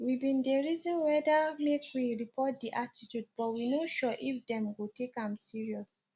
we bin dey reason whether make we report di attitude but we no sure if dem go take am serious